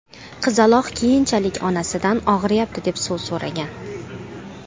Qizaloq keyinchalik onasidan ‘og‘riyapti’, deb suv so‘ragan.